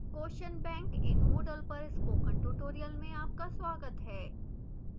question bank in moodle पर spoken tutorial में आपका स्वागत है